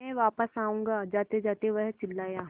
मैं वापस आऊँगा जातेजाते वह चिल्लाया